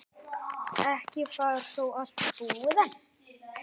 Ekki var þó allt búið enn.